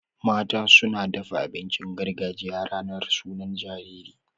Mata suna dafa abincin gargajiya ranar sunan jariri.